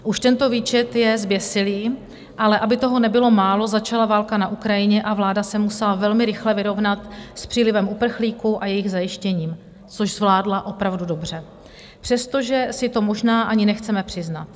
Už tento výčet je zběsilý, ale aby toho nebylo málo, začala válka na Ukrajině a vláda se musela velmi rychle vyrovnat s přílivem uprchlíků a jejich zajištěním, což zvládla opravdu dobře, přestože si to možná ani nechceme přiznat.